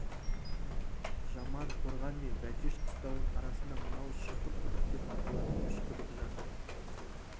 жаман қорған мен бәтеш қыстауының арасында мынау шұңқыр құдық деп аталатын үш құдық жатыр